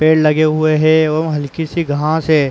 पेड़ लगे हुए है एवम हल्की सी घांस है।